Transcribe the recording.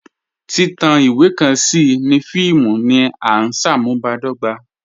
Titan iwe kan sí ní fíìmù ní à nṣámùbàdọ̀gbà